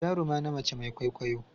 Jaruma na mace Mai kwaikwayo.